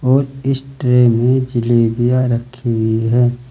और इस ट्रे में जलेबियां रखी हुई हैं।